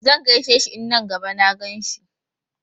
Zan gaishe shi in na gaba na gan shi.